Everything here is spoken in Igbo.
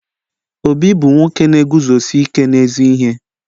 Obi bu nwoke na-eguzosi ike n'ezi ihe